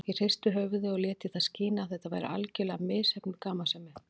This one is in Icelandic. Ég hristi höfuðið og lét í það skína að þetta væri algerlega misheppnuð gamansemi.